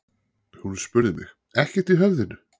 Hún spurði mig: ekkert í höfðinu?